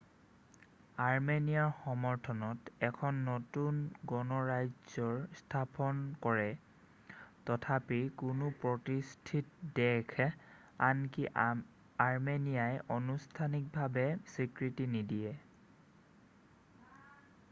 আৰ্মেনিয়াৰ সমৰ্থনত এখন নতুন গণৰাজ্যৰ স্থাপনা কৰে তথাপি কোনো প্ৰতিষ্ঠিত দেশে আনকি আৰ্মেনিয়াই আনুষ্ঠানিকভাৱে স্বীকৃতি নিদিয়ে